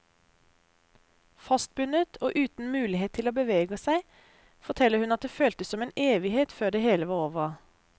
Fastbundet og uten mulighet til å bevege seg, forteller hun at det føltes som en evighet før det hele var over.